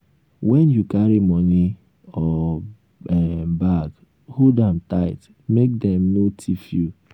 when you carry money or um bag hold um am tight make dem no um thief you